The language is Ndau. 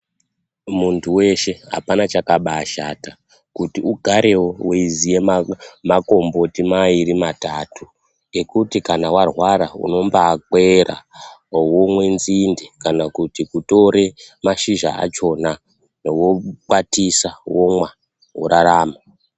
Muntu veshe hapana chakabashata kuti ugarevo veiziya makomboti mairi matatu. Ekuti kana varwara unombakwera vomwe nzinde kana kuti kutore mashizha achona vokwatisa womwa worarama.